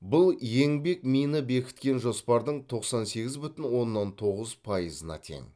бұл еңбекмині бекіткен жоспардың тоқсан сегіз бүтін оннан тоғыз пайызына тең